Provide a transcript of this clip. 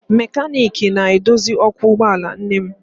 Mekaniiki na-edozi ọkụ ụgbọala nne m